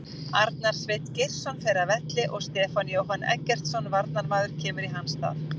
Arnar Sveinn Geirsson fer af velli og Stefán Jóhann Eggertsson varnarmaður kemur í hans stað.